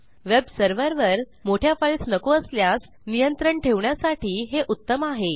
वेबसर्व्हरवर मोठ्या फाईल्स नको असल्यास नियंत्रण ठेवण्यासाठी हे उत्तम आहे